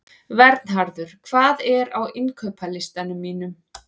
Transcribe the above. Vernharður, hvað er á innkaupalistanum mínum?